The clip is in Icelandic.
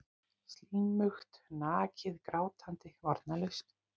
Slímugt, nakið, grátandi, varnarlaust.